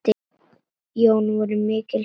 Jón voru mikils virt.